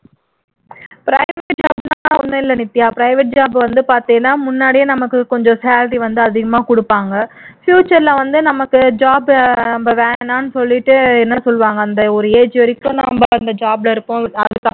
அதெல்லாம் ஒண்ணும் இல்லை நித்யா private job வந்து பார்த்தீன்னா முன்னாடியே நமக்கு கொஞ்சம் salary வந்து அதிகமா குடுப்பாங்க future ல வந்து நமக்கு job வேணாம்னு சொல்லிட்டு சொல்வாங்க அந்த ஒரு age வரைக்கும் நம்ம அந்த job ல இருப்போம்